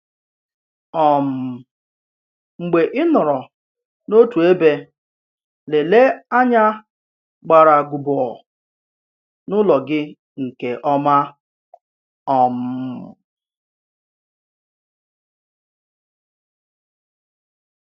um Mgbe ị nọrọ n’òtù èbè, lèlèe ànyà gbàràgùbọ̀ n’ụ̀lọ̀ gị nke ọma. um